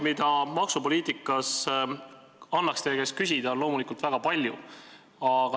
Neid maksupoliitika teemasid, mille kohta annaks teie käest küsida, on loomulikult väga palju.